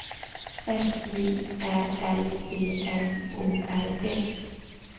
S J Ä L V M O R D